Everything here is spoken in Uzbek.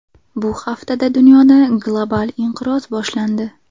Bu haftada dunyoda global inqiroz boshlandi.